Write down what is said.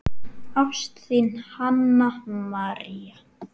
Ást, þín, Hanna María.